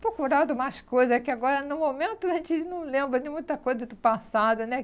procurado mais coisas, é que agora, no momento, a gente não lembra de muita coisa do passado, né?